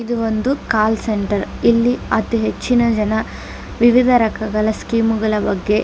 ಇದು ಒಂದು call centre ಇಲ್ಲಿ ಅತಿ ಹೆಚ್ಚಿನ ಜನ ವಿವಿಧ ರಕಗಳ ಸ್ಕೀಮ್ ಗಳ ಬಗ್ಗೆ --